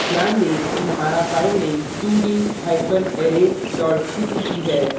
ध्यान दें कि हमारा file 2d hyphen array dot cpp है